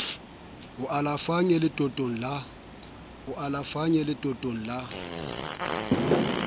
o alafang e letotong la